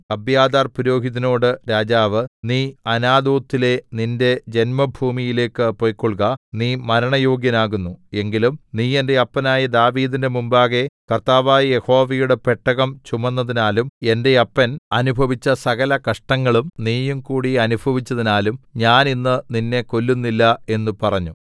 അബ്യാഥാർപുരോഹിതനോട് രാജാവ് നീ അനാഥോത്തിലെ നിന്റെ ജന്മഭൂമിയിലേക്ക് പൊയ്ക്കൊൾക നീ മരണയോഗ്യനാകുന്നു എങ്കിലും നീ എന്റെ അപ്പനായ ദാവീദിന്റെ മുമ്പാകെ കർത്താവായ യഹോവയുടെ പെട്ടകം ചുമന്നതിനാലും എന്റെ അപ്പൻ അനുഭവിച്ച സകലകഷ്ടങ്ങളും നീയും കൂടി അനുഭവിച്ചതിനാലും ഞാൻ ഇന്ന് നിന്നെ കൊല്ലുന്നില്ല എന്ന് പറഞ്ഞു